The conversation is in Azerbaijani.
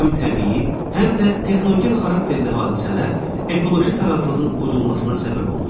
Həm təbii, həm də texnogen xarakterli hadisələr ekoloji tarazlığın pozulmasına səbəb olur.